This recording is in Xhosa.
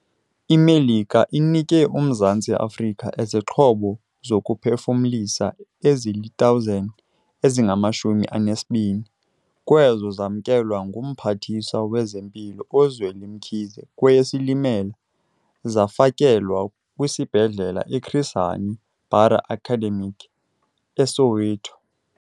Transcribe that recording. IMelika inike uMzantsi Afrika izixhobo zokuphefumlisa ezili-1 000, ezingama-20 kwezo zamkelwa nguMphathiswa wezeMpilo uZweli Mkhize kweyeSilimela. Zafakelwa kwiSibhedlele i-Chris Hani Bara Academic e-Soweto.